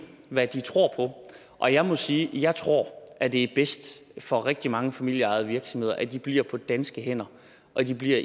hvad de tror og jeg må sige at jeg tror at det er bedst for rigtig mange familieejede virksomheder at de bliver på danske hænder og at de bliver